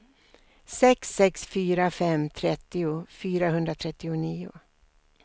sex sex fyra fem trettio fyrahundratrettionio